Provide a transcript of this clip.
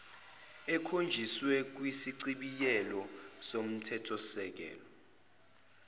ekhonjiswe kwisichibiyelo somthethosisekelo